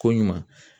Ko ɲuman